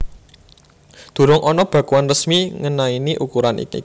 Durung ana bakuan resmi ngenaini ukuran iki